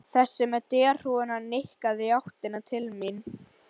Þessi með derhúfuna nikkaði í áttina til mín.